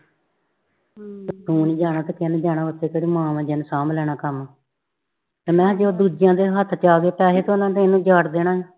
ਕਯੋ ਨੀ ਜਾਣਾ ਓਥੇ ਤੇਰੀ ਕੇਡੀ ਮਾਂ ਵਾ ਜਿੰਨੇ ਸਾਂਭ ਲੈਣਾ ਕਮ ਤੇ ਦੂਜੀਆਂ ਤੇ ਹੱਥ ਆ ਗਏ ਪੈਸੇ ਤੇ ਓਨਾ ਤੇ ਏਨੂੰ ਉਜਾੜ ਦੇਣਾ ਹੈ